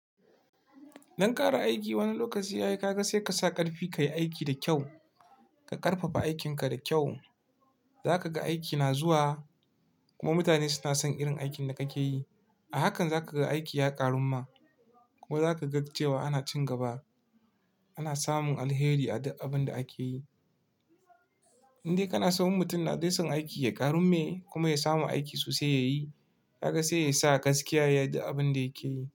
Don ƙara aiki, wani lokaci ka ga sai ka sa ƙarfi kayi aiki da kyau. Ka ƙarfafa aikinka da kyau, za ka ga aiki na zuwa. Kuma mutane suna son irin aikin da kake yi. A hakan za ka ga aiki ya ƙaru kuma za ka ga cewa ana ci gaba. Ana samun alheri a duk abunda ake yi. Indan dai kana so mutum yana son aiki ya ƙaru masa kuma ya samu aiki sosai ya yi. Ka ga sai ya sa gaskiya ya rike abin da yake yi.